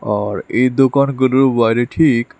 আর এই দোকানগুলোর বাইরে ঠিক--